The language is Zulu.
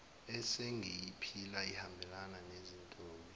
esengiyiphila ihambelana nezintombi